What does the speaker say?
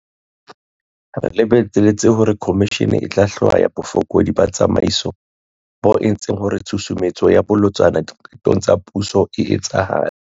Re lebeletse hore khomishene e tla hlwaya bofokodi ba tsamaiso bo entseng hore tshusumetso e bolotsana diqetong tsa puso e etsahale.